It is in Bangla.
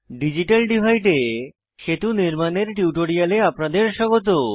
ডিজিটাল ডিভাইড এ সেতু নির্মানের টিউটোরিয়ালে আপনাদের স্বাগত